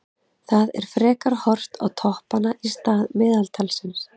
Það er frekar horft á toppanna í stað meðaltalsins.